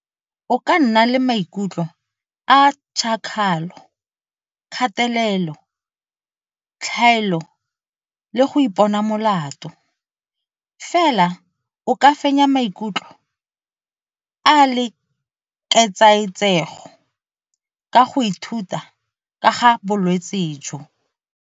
O ka nna le maikutlo a tšhakgalo, kgatelelo, tlhaelo le go ipona molato, fela o ka fenya maikutlo a le ketsaetsego ka go ithuta ka ga bolwetse jo.